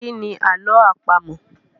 Kí ni àlọ́ àpamọ̀?